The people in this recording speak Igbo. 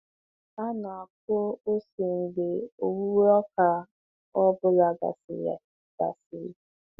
Ha na-akụ ose mgbe owuwe ọka ọ bụla gasịrị. gasịrị.